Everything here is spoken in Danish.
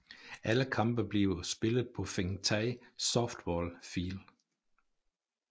Alle kampe bliver spillet på Fengtai Softball Field